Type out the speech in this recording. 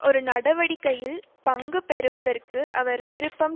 ஒரு நடவடிக்கையில் பங்கு பெறுவதற்கு அவர் விருப்பம்